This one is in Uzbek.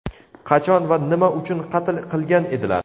qachon va nima uchun qatl qilgan edilar?.